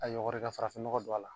A yɔgɔri ka farafinnɔgɔ don a la